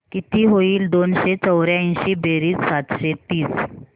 किती होईल दोनशे चौर्याऐंशी बेरीज सातशे तीस